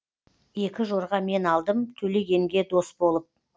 екі жорға мен алдым төлегенге дос болып